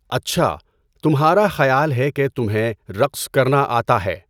اچھا، تمہارا خیال ہے کہ تمہیں رقص کرنا آتا ہے!